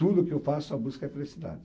Tudo que eu faço, a busca é a felicidade.